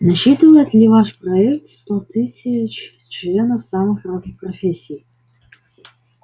насчитывает ли ваш проект сто тысяч членов самых разных профессий